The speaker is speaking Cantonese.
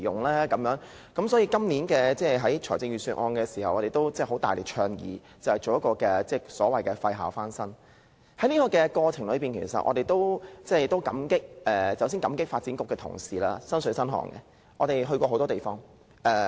所以，我們在今年的財政預算案大力倡議推行"廢校翻新"，在這個過程中，我們要感謝發展局的同事，他們做到"身水身汗"，與我們到過很多地方。